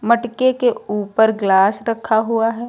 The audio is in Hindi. मटके के ऊपर ग्लास रखा हुआ है।